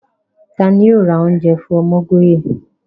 Tani yoo ra ounje fun Omogoye?